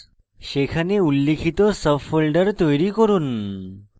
সেখানে উল্লিখিত sub folders তৈরি করুন